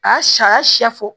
A y'a siy'a siya fɔ